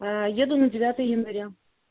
еду на девятое января